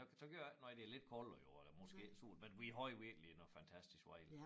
Så så gør det ikke noget det lidt koldere jo eller måske ikke sol men vi havde jo virkelig noget fantastisk vejr